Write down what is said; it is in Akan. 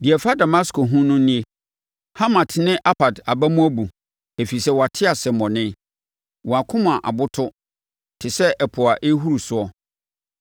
Deɛ ɛfa Damasko ho no nie: “Hamat ne Arpad aba mu abu, ɛfiri sɛ wɔate asɛmmɔne. Wɔn akoma aboto te sɛ ɛpo a ɛrehuru soɔ.